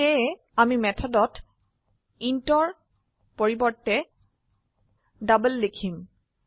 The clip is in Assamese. সেয়ে আমি মেথডত intৰ পৰিবৰ্তে ডাবল লিখম